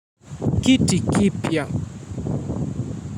Kiti kipya.